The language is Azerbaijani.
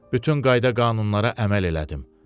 Bütün qayda-qanunlara əməl elədim.